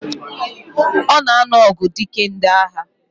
Ona anu ogu dike ndi agha.